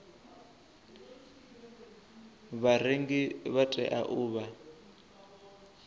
vharengi vha tea u vha